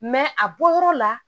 a bɔyɔrɔ la